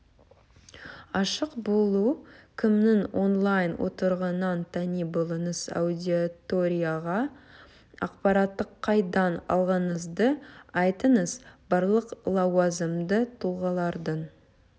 ашық болу кімнің онлайн отырғанын тани біліңіз аудиторияға ақпаратты қайдан алғаныңызды айтыңыз барлық лауазымды тұлғалардың